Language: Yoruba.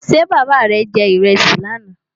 Ṣé bàbá rè je ìrẹsì lánà?